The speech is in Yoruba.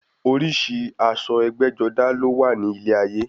Oríṣi aṣọ ẹgbẹ́-jọdá ló wà ní ilé ayé.